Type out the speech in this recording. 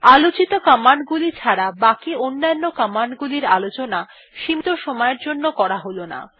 আলোচিত কমান্ড গুলি ছাড়া বাকি অন্যান্য কমান্ড গুলির আলোচনা সীমীত সময়ের জন্য করা হল না